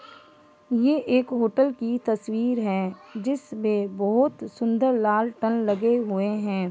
ये एक होटल की तस्वीर है जिस में बहुत सुंदर लाल टन लगे हुए हैं।